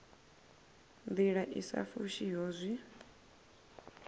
ndila i sa fushiho zwi